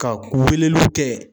Ka weleliw kɛ.